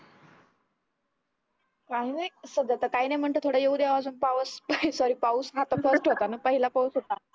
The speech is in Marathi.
काही नाही सध्या त काही नाही म्हणते थोडा येऊ द्यावा अजून पावस sorry पाऊस हा पण थोडाच होता न पहिला पाऊस होता